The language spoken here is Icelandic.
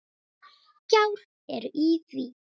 Gjár eru í því.